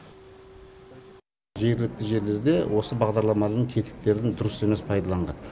жергілікті жерлерде осы бағдарламаның тетіктерін дұрыс емес пайдаланған